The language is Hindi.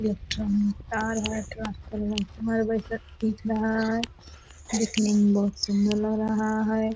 इलेक्ट्रॉनिक तार है ट्रांसफार्मर रहा है दिखने में बहुत सुंदर लग रहा है।